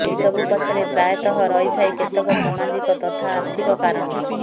ଏସବୁ ପଛରେ ପ୍ରାୟତଃ ରହିଥାଏ କେତେକ ସାମାଜିକ ତଥା ଆର୍ଥିକ କାରଣ